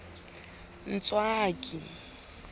ntswaki